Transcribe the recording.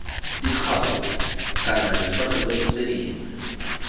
dikgapo kana ditshwanelo tse dingwe